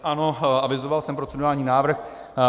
Ano, avizoval jsem procedurální návrh.